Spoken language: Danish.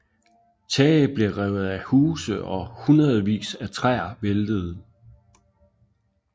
Tage blev revet af huse og hundredvis af træer væltede